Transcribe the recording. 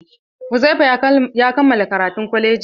Uzaifa ya kammala karatun kwalaji.